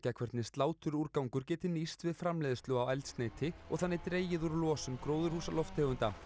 hvernig sláturúrgangur geti nýst við framleiðslu á eldsneyti og þannig dregið úr losun gróðurhúsalofttegunda